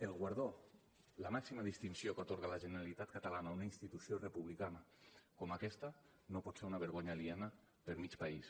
el guardó la màxima distinció que atorga la generalitat catalana una institució republicana com aquesta no pot ser una vergonya aliena per a mig país